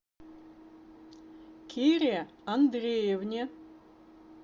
кире андреевне